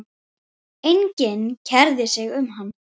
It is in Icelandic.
En hann átti gott.